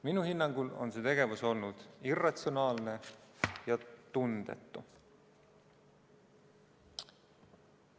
Minu hinnangul on see tegevus olnud irratsionaalne ja tundetu.